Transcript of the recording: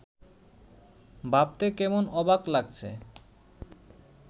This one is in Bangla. ভাবতে কেমন অবাক লাগছে